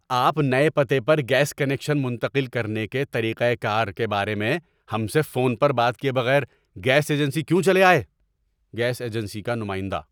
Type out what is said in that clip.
آپ نئے پتے پر گیس کنکشن منتقل کرنے کے طریقہ کار کے بارے میں ہم سے فون پر بات کیے بغیر گیس ایجنسی کیوں چلے آئے؟ (گیس ایجنسی کا نمائندہ)